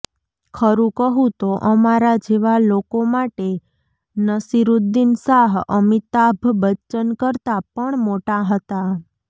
ખરું કહું તો અમારા જેવા લોકો માટે નસિરુદ્દીન શાહ અમિતાભ બચ્ચન કરતાં પણ મોટા હતા